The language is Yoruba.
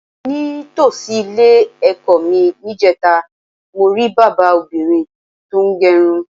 Ní tòsí ilé-è̩kó̩ mi níje̩ta, mo rí bábà obìnrin tó ń g̩e̩run.